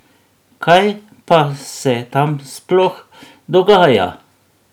Kaj pa se tam sploh dogaja?